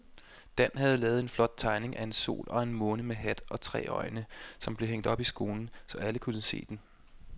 Dan havde lavet en flot tegning af en sol og en måne med hat og tre øjne, som blev hængt op i skolen, så alle kunne se den.